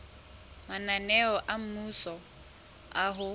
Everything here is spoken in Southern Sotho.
mananeo a mmuso a ho